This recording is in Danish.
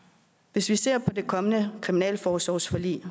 hvis vi ser på det kommende kriminalforsorgsforlig